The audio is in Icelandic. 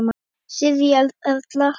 Sirrý Erla.